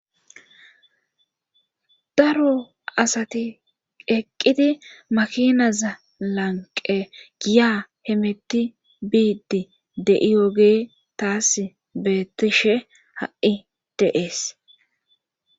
Daro asati eqqidi makinaza lanqen giya hemeti biidi de'iyoge taasi beetishe ha'i de'ees.